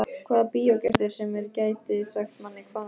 Hvaða bíógestur sem er gæti sagt manni hvað nú gerist.